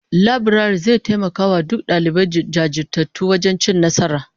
Laburare zai taimaki duk dalibai jajirtattu wajen cin nasara